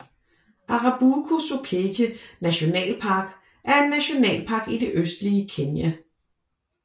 Arabuko Sokoke nationalpark er en nationalpark i det østlige Kenya